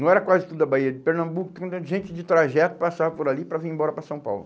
Não era quase tudo a Bahia de Pernambuco, tinha gente de trajeto que passava por ali para vir embora para São Paulo.